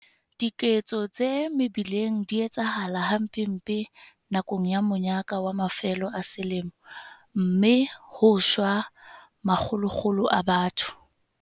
Dikotsi tsa mebileng di eketseha hampempe nakong ya monyaka wa mafelo a selemo, mme ho shwa ma kgolokgolo a batho.